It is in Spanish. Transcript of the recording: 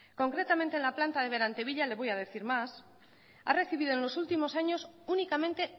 concretamente en la planta de berantevilla le voy a decir más ha recibido en los últimos años únicamente